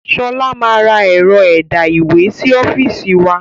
Sọlá máa ra ẹ̀rọ ẹ̀dá ìwé sì ọ́fíìsì wa